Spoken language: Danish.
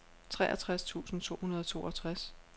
treogtres tusind to hundrede og toogtres